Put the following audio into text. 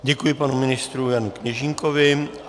Děkuji panu ministru Janu Kněžínkovi.